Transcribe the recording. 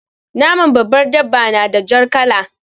Naman babbar dabba na da jar kala.